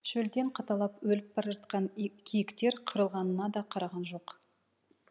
шөлден қаталап өліп бара жатқан иі киіктер қырылғанына да қараған жоқ